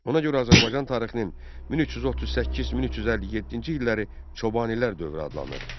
Ona görə Azərbaycan tarixinin 1338-1357-ci illəri Çobanilər dövrü adlanır.